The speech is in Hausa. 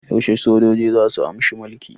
Yaushe sojoji zasu amshi mulki?